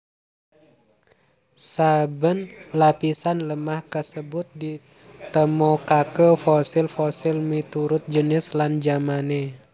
Saben lapisan lemah kasebut ditemokaké fosil fosil miturut jinis lan jamané